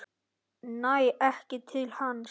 Næ ekki til hans.